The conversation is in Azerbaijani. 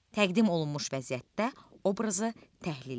Təqdim olunmuş vəziyyətdə obrazı təhlil elə.